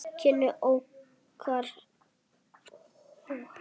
Kynni okkar hófust í æsku.